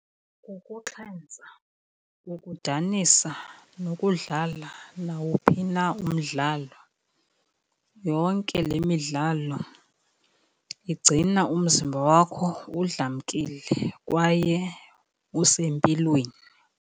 Kukuxhentsa, kukudanisa, nokudlala nawuphi na umdlalo, yonke le midlalo igcina umzimba wakho udlamkile kwaye usempilweni.